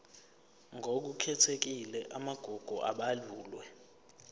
ngokukhethekile amagugu abalulwe